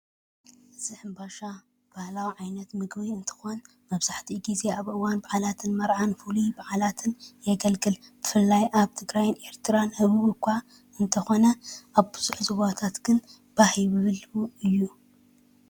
እዚ ኣምባሻ ባህላዊ ዓይነት ምግቢ እንትኮን መብዛሕትኡ ግዜ ኣብ እዋን በዓላትን መርዓን ፍሉይ በዓላትን የገልግል ብፍላይ ኣብ ትግራይን ኤርትራን ህቡብ እኳ እንተ ኮነ ኣብ ብዙሕ ዞባታት ግን ባህ ይብሎ እዩ።